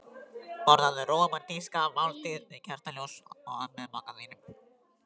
Borðaðu rómantíska máltíð við kertaljós með maka þínum.